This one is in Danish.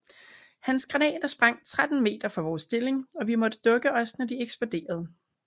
Hans granater sprang 13 meter fra vores stilling og vi måtte dukke os når de eksploderede